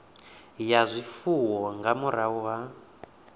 ya zwifuwo nga murahu ha